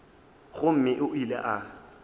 gomme o ile ge a